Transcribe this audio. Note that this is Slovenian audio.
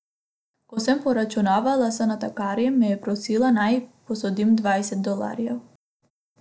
Ko sem poračunavala z natakarjem, me je prosila, naj ji posodim dvajset dolarjev.